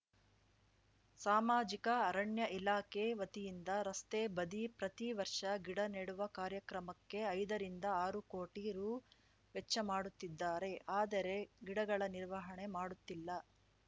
ಸಾಮಾಜಿಕ ಅರಣ್ಯ ಇಲಾಖೆ ವತಿಯಿಂದ ರಸ್ತೆ ಬದಿ ಪ್ರತಿ ವರ್ಷ ಗಿಡ ನೆಡುವ ಕಾರ್ಯಕ್ರಮಕ್ಕೆ ಐದರಿಂದ ಆರು ಕೋಟಿ ರು ವೆಚ್ಚಮಾಡುತ್ತಿದ್ದಾರೆ ಆದರೆ ಗಿಡಗಳ ನಿರ್ವಹಣೆ ಮಾಡುತ್ತಿಲ್ಲ